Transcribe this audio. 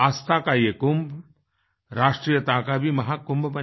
आस्था का ये कुंभ राष्ट्रीयता का भी महाकुंभ बने